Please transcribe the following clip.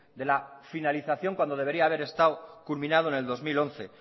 de la finalización cuando debería haber estado culminado en el dos mil once